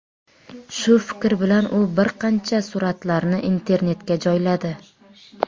Shu fikr bilan u bir qancha suratlarni internetga joyladi.